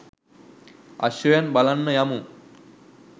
අශ්වයන් බලන්න යමු.